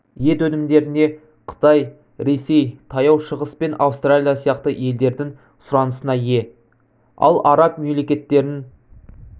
ет өнімдеріне қытай ресей таяу шығыс пен австралия сияқты елдердің сұранысына ие ал араб мемлекеттерін